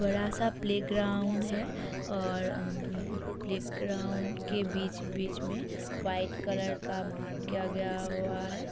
बड़ा सा प्लेग्राउंड है और अम प्लेग्राउंड के बीच बीच में व्हाइट कलर का मार्क किया गया हुआ है।